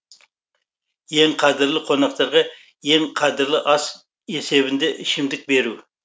ең қадірлі қонақтарға ең қадірлі ас есебінде ішімдік беру